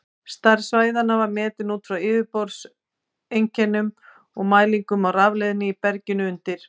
Stærð svæðanna var metin út frá yfirborðseinkennum og mælingum á rafleiðni í berginu undir.